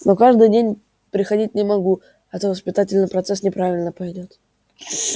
но каждый день приходить не могу а то воспитательный процесс неправильно пойдёт